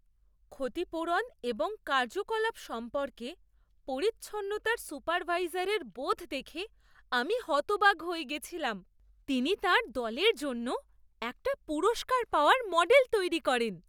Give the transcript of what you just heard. ক্ষতিপূরণ এবং কার্যকলাপ সম্পর্কে পরিচ্ছন্নতার সুপারভাইজারের বোধ দেখে আমি হতবাক হয়ে গেছিলাম। তিনি তাঁর দলের জন্য একটা পুরস্কার পাওয়ার মডেল তৈরি করেন।